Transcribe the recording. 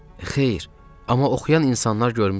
Xeyr, amma oxuyan insanlar görmüşəm.